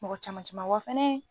Mɔgɔ caman caman wa fɛnɛ